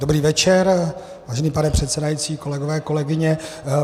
Dobrý večer, vážený pane předsedající, kolegové, kolegyně.